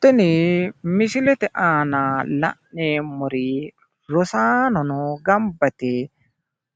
tini misilete aana la'neemmori rosaannono gamba yite